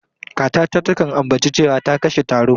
Kakata takan ambaci cewa ta kashe taro.